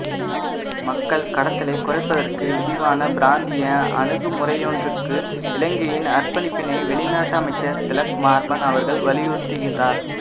மக்கள் கடத்தலை குறைப்பதற்கு விரிவான பிராந்திய அணுகுமுறையொன்றுக்கு இலங்கையின் அர்ப்பணிப்பினை வெளிநாட்டமைச்சர் திலக் மாரபன அவர்கள் வலியுறுத்துகின்றார்